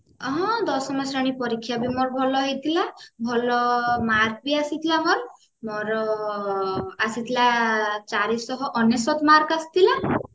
ହଁ ଦଶମ ଶ୍ରେଣୀ ପରୀକ୍ଷା ବି ମୋର ଭଲ ହେଇଥିଲା ଭଲ mark ବି ଆସିଥିଲା ମୋର ଆସିଥିଲା ଚାରିସହ ଅନେଶ୍ଵତ mark ଆସିଥିଲା